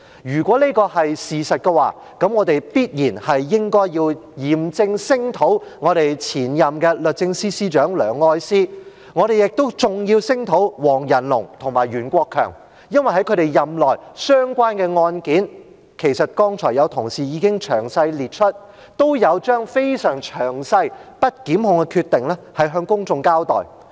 如果這是事實，我們便應嚴正聲討前任律政司司長梁愛詩，我們亦要聲討黃仁龍及袁國強，因為在他們任內相關的案件——其實剛才有同事已經詳細列出——都有將非常詳細、不檢控的決定向公眾交代。